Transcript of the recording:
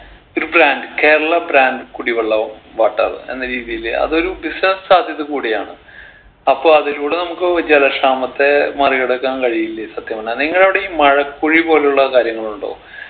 ഒരു brand Kerala brand കുടിവെള്ളവും water എന്ന രീതിയില് അതൊരു business സാധ്യത കൂടിയാണ് അപ്പൊ അതിലൂടെ നമുക്ക് ജലക്ഷാമത്തെ മറികടക്കാൻ കഴിയില്ലേ സത്യം പറഞ്ഞാ നിങ്ങളവിടെ ഈ മഴക്കുഴി പോലുള്ള കാര്യങ്ങളുണ്ടോ